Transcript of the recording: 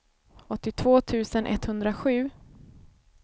åttiotvå tusen etthundrasju